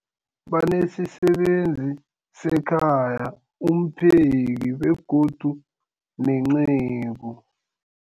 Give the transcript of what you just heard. Banesisebenzi sekhaya, umpheki, begodu nenceku.